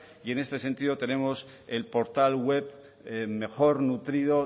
y en este sentido tenemos el portal web mejor nutrido